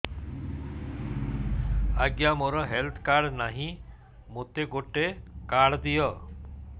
ଆଜ୍ଞା ମୋର health card ନାହିଁ ମୋତେ ଗୋଟେ କାର୍ଡ ଦିଅ